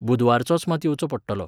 बुधवारचोच मात येवचो पडटलो.